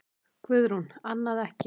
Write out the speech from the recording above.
Guðrún: Annað ekki?